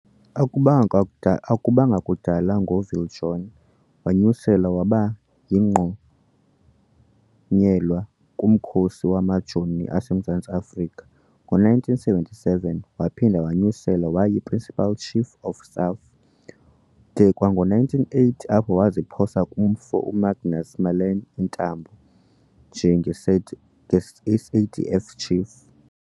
Akubanga kuda akubanga kuda ngo uViljoen wonyuselwa waba yingqonyela kumkhosi wamaJoni aseMzantsi afrika. Ngo1977 waphinda wonyuselwa waba yi-"Principal Chief of Staff" de kwango1980 apho waziphosa kumfo uMagnus Malan iintambo nje-SADF chief"